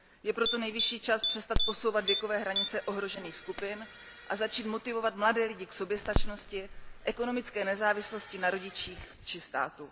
Je proto nejvyšší čas přestat posouvat věkové hranice ohrožených skupin a začít motivovat mladé lidi k soběstačnosti, ekonomické nezávislosti na rodičích či státu.